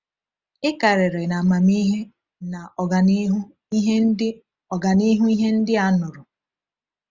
“Ị karịrị n’amamihe na ọganihu ihe ndị ọganihu ihe ndị a nụrụ.”